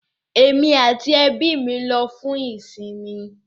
Emi ati ẹbi mi lọ fun isinmi